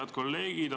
Head kolleegid!